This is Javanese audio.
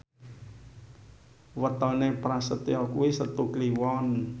wetone Prasetyo kuwi Setu Kliwon